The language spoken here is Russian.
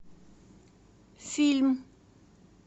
фильм